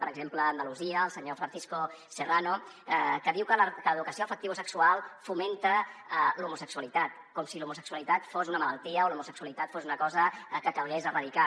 per exemple a andalusia el senyor francisco serra no que diu que l’educació afectivosexual fomenta l’homosexualitat com si l’homosexualitat fos una malaltia o l’homosexualitat fos una cosa que calgués erradicar